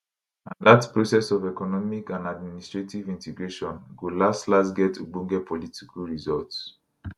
and dat process of economic and administrative integration go laslas get ogbonge political results